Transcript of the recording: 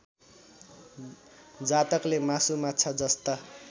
जातकले मासुमाछा जस्ता